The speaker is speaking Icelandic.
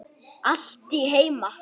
Allt heima.